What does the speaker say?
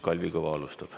Kalvi Kõva alustab.